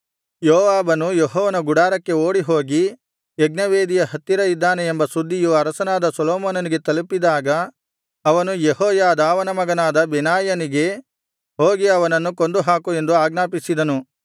ಯೋವಾಬನು ಯೆಹೋವನ ಗುಡಾರಕ್ಕೆ ಓಡಿಹೋಗಿ ಯಜ್ಞವೇದಿಯ ಹತ್ತಿರ ಇದ್ದಾನೆ ಎಂಬ ಸುದ್ದಿಯು ಅರಸನಾದ ಸೊಲೊಮೋನನಿಗೆ ತಲುಪಿದಾಗ ಅವನು ಯೆಹೋಯಾದಾವನ ಮಗನಾದ ಬೆನಾಯನಿಗೆ ಹೋಗಿ ಅವನನ್ನು ಕೊಂದು ಹಾಕು ಎಂದು ಆಜ್ಞಾಪಿಸಿದನು